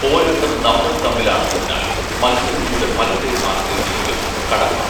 പോരാട്ടം നമ്മൾ തമ്മിലാണെന്നതിനാൽ മൽസരങ്ങളുടെ ഫലത്തെ ആശ്രയിച്ചിരിക്കും കടമ്പ